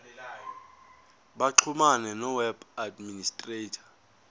baxhumane noweb administrator